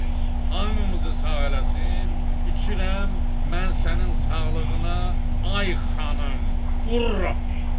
Hamımızı sağ eləsin, içirəm mən sənin sağlığına, ay xanım, Ura!